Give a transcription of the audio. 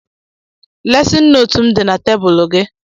Lesịn nootu m dị na tebụlụ gị.